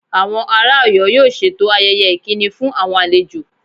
Àwọn ará Oyo yóò ṣètò ayẹyẹ ìkíni fún àwọn àlejò